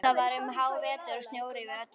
Það var um hávetur og snjór yfir öllu.